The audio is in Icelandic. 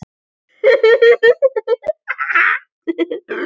Hverjir eru hinir tveir sem ekki koma frá Englandi?